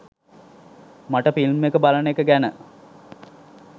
මට ෆිල්ම් එක බලන එක ගැන